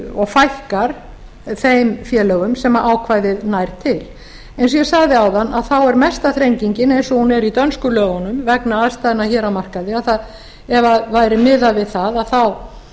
og fækkar þeim félögum sem ákvæðið nær til eins og ég sagði áðan er mesta þrengingin eins og hún er í dönsku lögunum vegna aðstæðna hér á markaði að ef það væri miðað við það